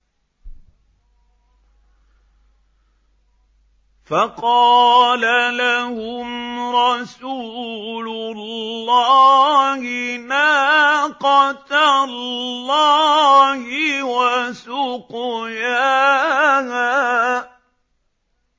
فَقَالَ لَهُمْ رَسُولُ اللَّهِ نَاقَةَ اللَّهِ وَسُقْيَاهَا